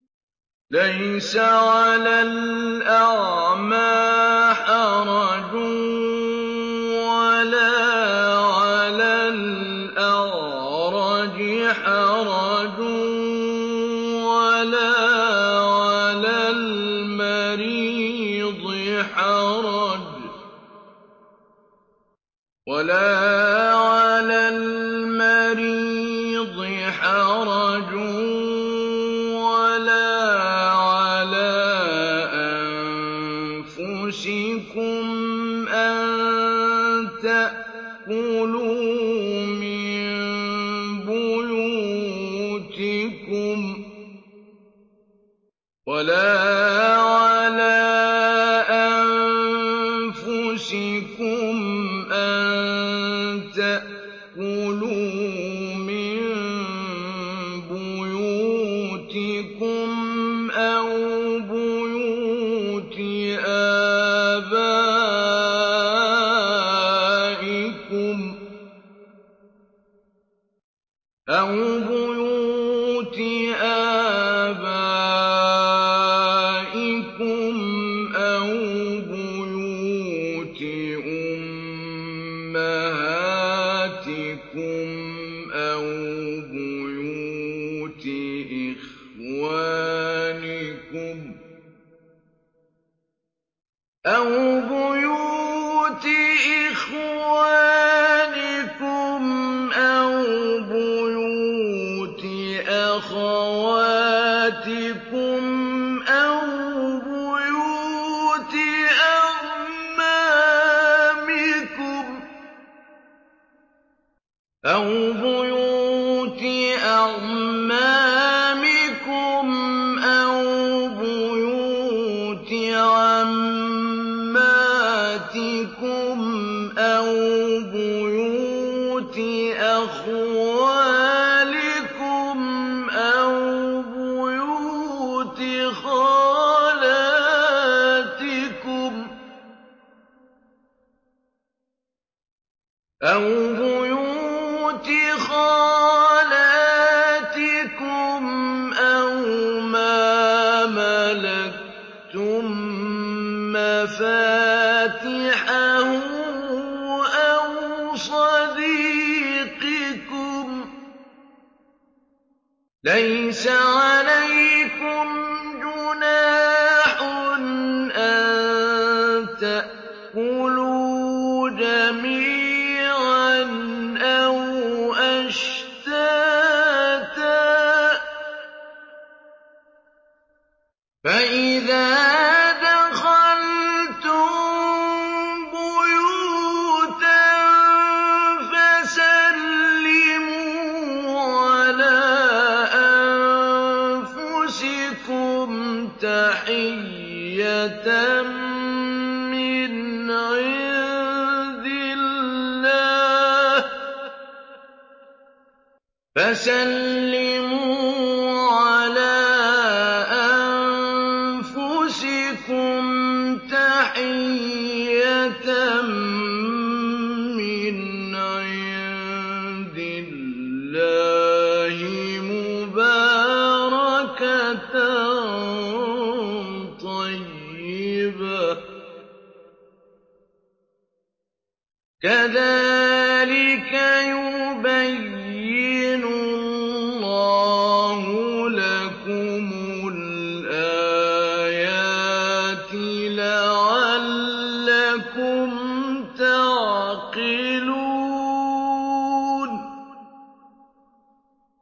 لَّيْسَ عَلَى الْأَعْمَىٰ حَرَجٌ وَلَا عَلَى الْأَعْرَجِ حَرَجٌ وَلَا عَلَى الْمَرِيضِ حَرَجٌ وَلَا عَلَىٰ أَنفُسِكُمْ أَن تَأْكُلُوا مِن بُيُوتِكُمْ أَوْ بُيُوتِ آبَائِكُمْ أَوْ بُيُوتِ أُمَّهَاتِكُمْ أَوْ بُيُوتِ إِخْوَانِكُمْ أَوْ بُيُوتِ أَخَوَاتِكُمْ أَوْ بُيُوتِ أَعْمَامِكُمْ أَوْ بُيُوتِ عَمَّاتِكُمْ أَوْ بُيُوتِ أَخْوَالِكُمْ أَوْ بُيُوتِ خَالَاتِكُمْ أَوْ مَا مَلَكْتُم مَّفَاتِحَهُ أَوْ صَدِيقِكُمْ ۚ لَيْسَ عَلَيْكُمْ جُنَاحٌ أَن تَأْكُلُوا جَمِيعًا أَوْ أَشْتَاتًا ۚ فَإِذَا دَخَلْتُم بُيُوتًا فَسَلِّمُوا عَلَىٰ أَنفُسِكُمْ تَحِيَّةً مِّنْ عِندِ اللَّهِ مُبَارَكَةً طَيِّبَةً ۚ كَذَٰلِكَ يُبَيِّنُ اللَّهُ لَكُمُ الْآيَاتِ لَعَلَّكُمْ تَعْقِلُونَ